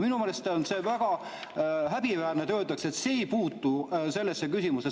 Minu meelest on see väga häbiväärne, kui öeldakse, et see ei puutu sellesse küsimusse.